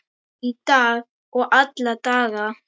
Í dag og alla daga.